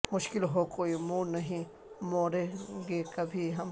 مشکل ہو کوئی منہ نہیں موڑیں گے کبھی ہم